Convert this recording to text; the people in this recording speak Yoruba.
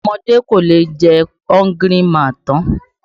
Àwọn ọmọdé ò lè jẹ Hungry man tán.